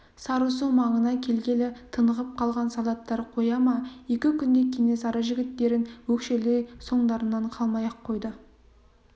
сарысу маңына келгелі тынығып қалған солдаттар қоя ма екі күндей кенесары жігіттерін өкшелей соңдарынан қалмай-ақ қойды